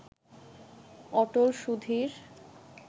Atal Sudhir